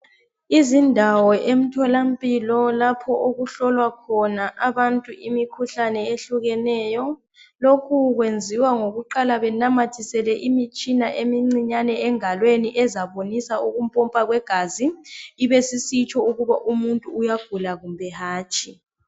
Izindawo emtholampilo lapho okuhlolwa khona abantu imikhuhlane ehlukeneyo. Lokhu kwenziwa ngokuqala benamathisele imitshina emncinyane engalweni ezabonisa ukumpompa kwegazi ibisisitsho ukuthi umuntu uyagula kumbe hatshi